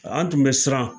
An tun bɛ siran